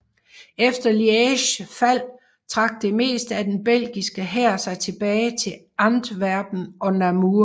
Efter Lièges fald trak det meste af den belgiske hær sig tilbage til Antwerpen og Namur